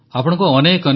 ନଲ ୱାଡ଼ ତୁକ୍କଲ୍